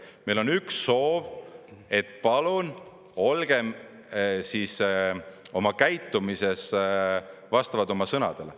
Meil on üks soov, et palun olgem oma käitumises vastavalt oma sõnadele.